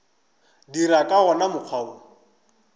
dira ka wona mokgwa wo